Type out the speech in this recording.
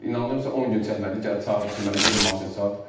İnandım sənə 10 gün çəkmədi, gəldi çağırdı ki, mənə get o maşını sat.